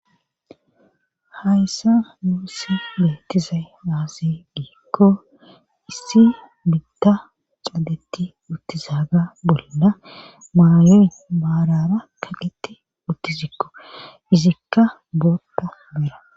hayssa muussi beettizay aasi giikko issi bitda cadeti uttizaga bolla maayoy baarara kaqeti uttizikko izikka bootta bera